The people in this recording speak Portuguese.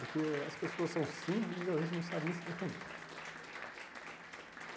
Porque as pessoas são simples e às vezes não sabem nem se defender.